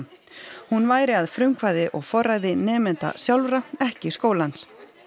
hún væri að frumkvæði og forræði nemenda sjálfra ekki skólans